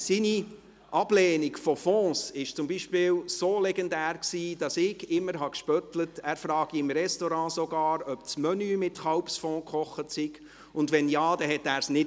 Seine Ablehnung von Fonds beispielsweise ist so legendär, dass ich immer gespöttelt habe, er frage im Restaurant sogar, ob das Menü mit Kalbsfond gekocht sei, und wenn Ja, dann bestelle er es nicht.